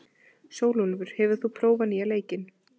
Sólúlfur, hefur þú prófað nýja leikinn?